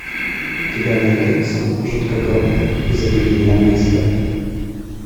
у тебя найдется жутко громко и запредельно близко